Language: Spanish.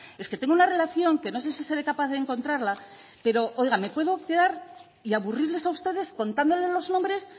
es que tengo una relación que no sé si seré capaz de encontrarla pero oiga me puedo quedar y aburrirles a ustedes contándoles los nombres